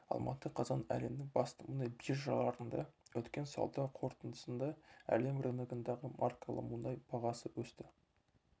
алматы қазан әлемнің басты мұнай биржаларында өткен сауда қортындысында әлем рыногындағы маркалы мұнай бағасы өсті